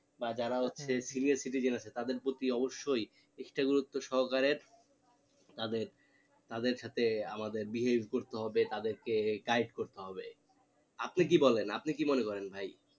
বা যারা senior citizen তাদের প্রতি অবশ্যই extra গুরুত্ব সহকারে তাদের তাদের সাথে আমাদের behave করতে হবে তাদেরকে guide করতে হবে আপনি কি বলেন আপনি কি মনে করেন ভাই